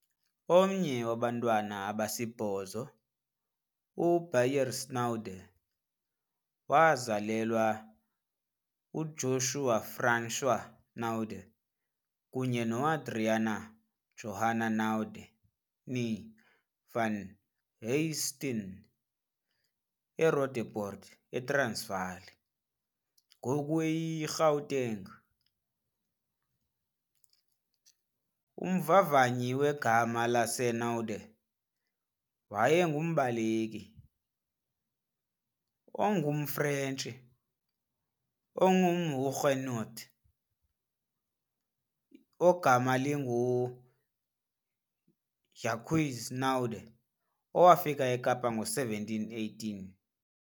Omnye wabantwana abasibhozo, uBeyers Naudé wazalelwa uJozua François Naudé kunye noAdriana Johanna Naudé, née, van Huyssteen eRoodepoort, eTransvaal, ngoku eyiGauteng. Umvavanyi wegama laseNaudé wayengumbaleki ongumFrentshi ongumHuguenot ogama linguJacques Naudé owafika eKapa ngo-1718.